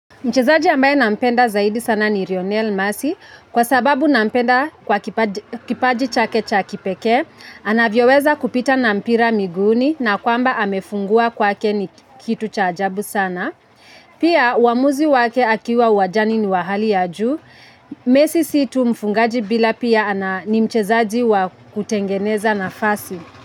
Mchezaji ambaye nampenda zaidi sana ni Rionel Masi, kwa sababu nampenda kwa kipaji chake chakipeke, anavyoweza kupita na mpira miguni na kwamba amefungua kwake ni kitu cha ajabu sana. Pia, wamuzi wake akiwa uwajani ni wahali ya juu, mesi situ mfungaji bila pia ni mchezaji wa kutengeneza nafasi.